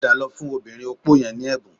Padà lọ fún obìnrin opó yẹn ní ẹ̀bùn